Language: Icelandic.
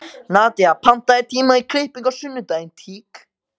Nadía, pantaðu tíma í klippingu á sunnudaginn.